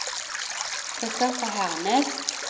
Christopher Hernes